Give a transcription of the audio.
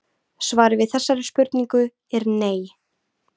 svarið við þessari spurningu er nei